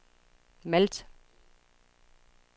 Malt